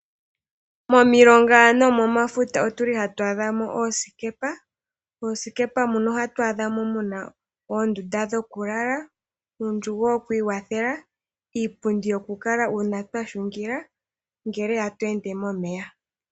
Momilonga nomomafuta otuli hatu adhamo oosikepa. Moosikepa muno ohatu adhamo muna oondunda dhokulala, uundjugo wokwiiwathela, iipundi yokukala uuna twahungila ngele tatweende momeya.